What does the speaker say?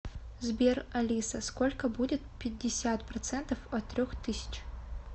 сбер алиса сколько будет пятьдесят процентов от трех тысяч